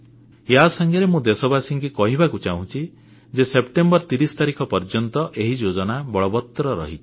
ୟା ସାଙ୍ଗରେ ମୁଁ ଦେଶବାସୀଙ୍କୁ କହିବାକୁ ଚାହୁଁଛି ଯେ ସେପ୍ଟେମ୍ବର 30 ପର୍ଯ୍ୟନ୍ତ ଏହି ଯୋଜନା ବଳବତ୍ତର ରହିଛି